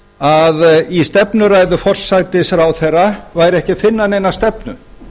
að í stefnuræðu forsætisráðherra væri ekki að finna neina stefnu